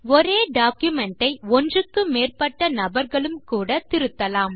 ஒரே டாக்குமென்ட் ஐ ஒன்றுக்கு மேற்பட்ட நபர்களும் கூட திருத்தலாம்